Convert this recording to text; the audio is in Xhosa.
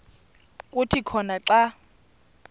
kuthi khona xa